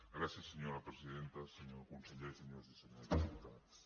gràcies senyora presidenta senyor conseller senyores i senyors diputats